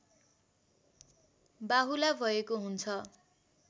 बाहुला भएको हुन्छ